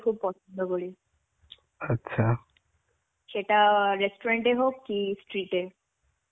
খুব পছন্দ করি. সেটা restaurant হোক কি street এ.`